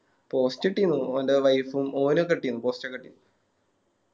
Post ഇട്ടിന്നു ഓൻറെ Wife ഉം ഓനൊക്കെ ഇട്ടിന്നു Post ഒക്കെ ഇട്ടിന്നു